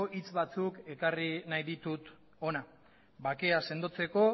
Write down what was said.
hitz batzuk ekarri nahi ditut hona bakea sendotzeko